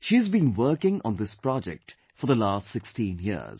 She has been working on this project for the last 16 years